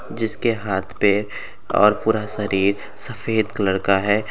जिसके हाथ पैर और पूरा शरीर सफेद कलर का है।